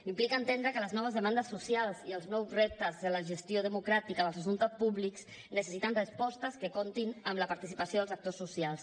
implica entendre que les noves demandes socials i els nous reptes de la gestió democràtica dels assumptes públics necessiten respostes que comptin amb la participació dels actors socials